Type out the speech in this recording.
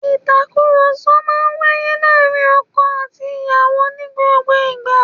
Ìtàkùrọ̀sọ máa ń wáyé láàárín ọkọ àti ìyàwó ní gbogbo ìgbà